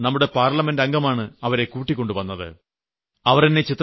അലീഗഡിൽ നിന്നുള്ള നമ്മുടെ പാർലമെന്റ് അംഗമാണ് അവരെ കൂട്ടികൊണ്ട് വന്നത്